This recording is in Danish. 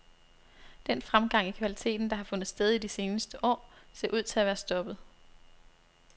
Den fremgang i kvaliteten, der har fundet sted i de seneste år, ser ud til at være stoppet.